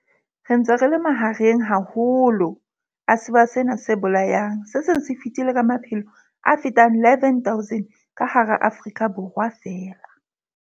Re ntse re le mahareng haholo a sewa sena se bolayang se seng se fetile ka maphelo a fetang 11 000 ka hara Afrika Borwa feela.